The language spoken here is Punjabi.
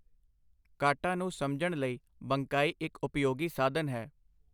ਕਾਟਾ ਨੂੰ ਸਮਝਣ ਲਈ ਬੰਕਾਈ ਇੱਕ ਉਪਯੋਗੀ ਸਾਧਨ ਹੈ।